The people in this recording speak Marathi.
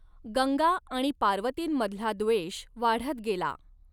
गंगा आणि पार्वतींमधला द्वेष वाढत गेला.